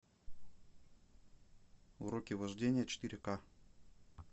уроки вождения четыре ка